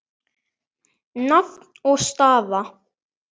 Nafn og staða?